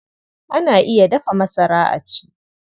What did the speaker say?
Ana iya dafa masara a ci.